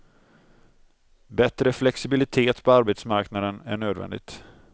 Bättre flexibilitet på arbetsmarknaden är nödvändigt.